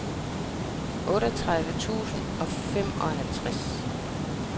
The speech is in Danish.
otteogtredive tusind og femoghalvfems